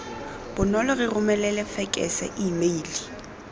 bonolo re romelele fekese emeile